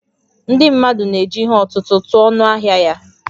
Ndị mmadụ na-eji ihe ọ̀tụ̀tụ̀ tụọ ọnụ ahịa ya